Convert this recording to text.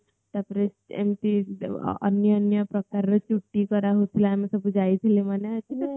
ତାପରେ ଏମିତି ଅନ୍ୟ ଅନ୍ୟ ପ୍ରକାର ର ଚୁଟି କରା ହୋଉଥିଲା ଆମେ ସବୁ ଯାଇଥିଲେ ମନେ ଅଛି ତତେ